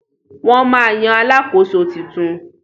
Wọ́n ma yan Alakoso tuntun